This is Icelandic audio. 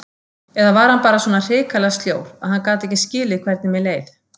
Eða var hann bara svona hrikalega sljór, gat hann ekki skilið hvernig mér leið?